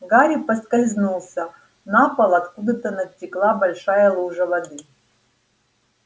гарри поскользнулся на пол откуда-то натекла большая лужа воды